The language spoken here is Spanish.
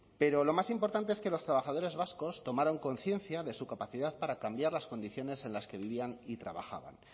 pero lo más importante es que los trabajadores vascos tomaron conciencia de su capacidad para cambiar las condiciones en las que vivían y trabajaban